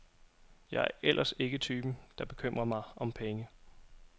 Jeg er ellers ikke typen, der bekymrer mig om penge.